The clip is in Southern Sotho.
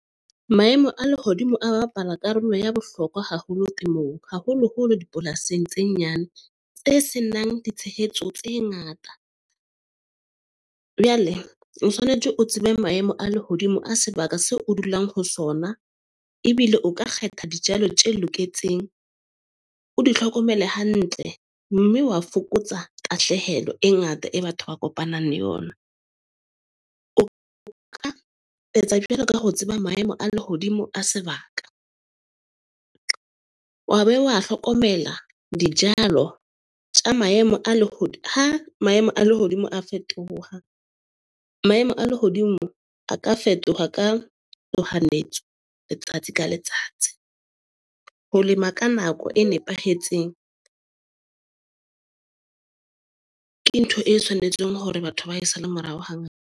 Maemo a lehodimo a bapala karolo ya bohlokwa haholo temong, haholoholo dipolasing tse nyane tse senang ditshehetso tse ngata. o tshwanetse o tsebe maemo a lehodimo a sebaka seo o dulang ho sona. Ebile o ka kgetha dijalo tje loketseng. O di tlhokomele hantle mme wa fokotsa tahlehelo e ngata e batho ba kopanang le yona. O ka etsa jwalo ka ho tseba maemo a lehodimo a sebaka. Wa be wa hlokomela dijalo tja maemo a , ha maemo a lehodimo a fetoha, maemo a lehodimo a ka fetoha ka letsatsi ka letsatsi. Ho lema ka nako e nepahetseng ke ntho e tshwanetseng hore batho ba e sale morao .